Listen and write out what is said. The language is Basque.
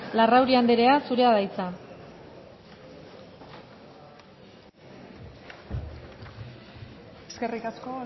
larrauri andrea zurea da hitza eskerrik asko